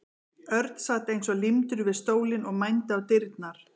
Örn sat eins og límdur við stólinn og mændi á dyrnar.